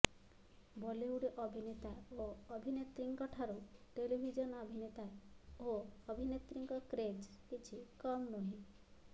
ବଲିଉଡ୍ ଅଭିନେତା ଓ ଅଭିନେତ୍ରୀଙ୍କ ଠାରୁ ଟେଲିଭିଜନ ଅଭିନେତା ଓ ଅଭିନେତ୍ରୀଙ୍କ କ୍ରେଜ୍ କିଛି କମ୍ ନୁହେଁ